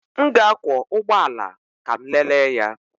M ga-akwọ ụgbọ ala ka m lelee ya.